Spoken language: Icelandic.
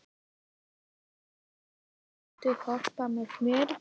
Torbjörg, viltu hoppa með mér?